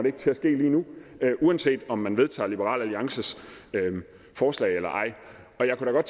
ikke til at ske lige nu uanset om man vedtager liberal alliances forslag eller ej jeg kunne da